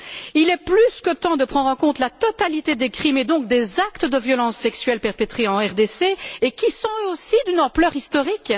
Il est plus que temps de prendre en compte la totalité des crimes et donc des actes de violence sexuelle perpétrés en RDC et qui sont, eux aussi, d'une ampleur historique.